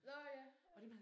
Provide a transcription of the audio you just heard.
Nåh ja!